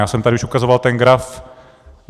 Já jsem tady už ukazovat ten graf.